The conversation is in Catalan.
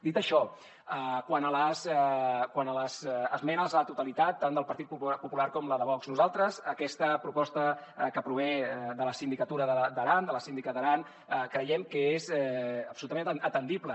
dit això quant a les esmenes a la totalitat tant del partit popular com de vox nosaltres aquesta proposta que prové de la sindicatura d’aran de la síndica d’aran creiem que és absolutament atendible